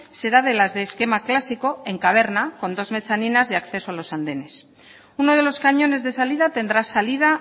será de las de esquema clásico en caverna con dos mezaninas de acceso a los andenes uno de los cañones de salida tendrá salida